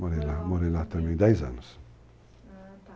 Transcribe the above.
Morei lá também dez anos. Ah, tá.